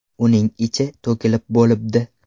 Uning ichi to‘kilib bo‘libdi.